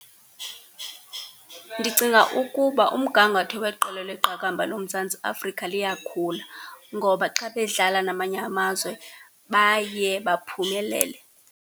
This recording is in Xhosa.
Ndicinga ukuba umgangatho weqela leqakamba loMzantsi Afrika liyakhula, ngoba xa bedlala namanye amazwe baye baphumelele.